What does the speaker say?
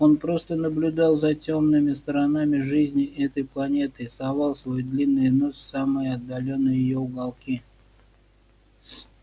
он просто наблюдал за тёмными сторонами жизни этой планеты и совал свой длинный нос в самые отдалённые её уголки